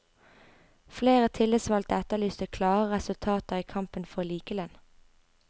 Flere tillitsvalgte etterlyste klarere resultater i kampen for likelønn.